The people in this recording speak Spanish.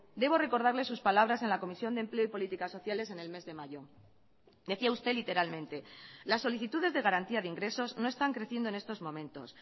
debo recordarle sus palabras en la comisión de empleo y políticas sociales en el mes de mayo decía usted literalmente las solicitudes de garantía de ingresos no están creciendo en estos momentos